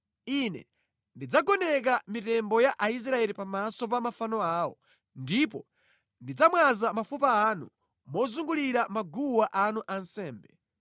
Ine ndidzagoneka mitembo ya Aisraeli pamaso pa mafano awo, ndipo ndidzamwaza mafupa anu mozungulira maguwa anu ansembe.